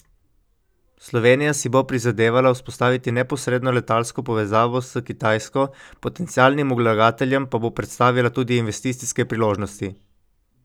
Slovenija si bo prizadevala vzpostaviti neposredno letalsko povezavo s Kitajsko, potencialnim vlagateljem pa bo predstavila tudi investicijske priložnosti.